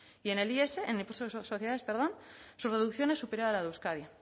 y en el is en el impuesto de sociedades perdón su reducción es superior a la de euskadi